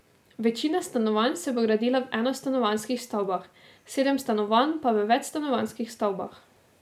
Večina stanovanj se bo gradila v enostanovanjskih stavbah, sedem stanovanj pa v večstanovanjskih stavbah.